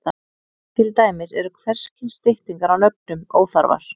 Til dæmis eru hvers kyns styttingar á nöfnum óþarfar.